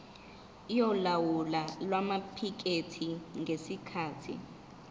yolawulo lwamaphikethi ngesikhathi